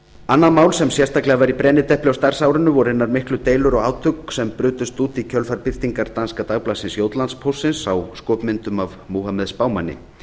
annað mál sem sérstaklega var í brennidepli á starfsárinu voru hinar miklu deilur og átök sem brutust út í kjölfar birtingar danska dagblaðsins jótlandspóstsins á skopmyndum af múhameð spámanni